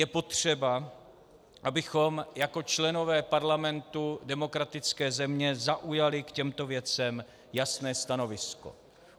Je potřeba, abychom jako členové Parlamentu demokratické země zaujali k těmto věcem jasné stanovisko.